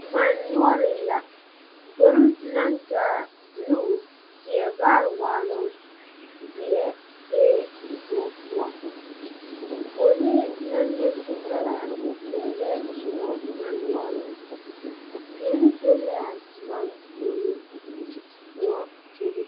Man nouring la gbori nang taa blue, teɛ vaare waalong ,zeɛ bee koun puo poɔlee nang le zutaraa pɛlee zuma man nouring teɛre be la a man pouring koun bebe.